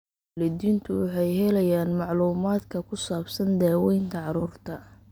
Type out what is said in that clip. Waalidiintu waxay helayaan macluumaadka ku saabsan daawaynta carruurta.